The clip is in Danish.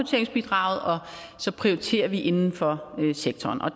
så prioriterer vi inden for sektoren og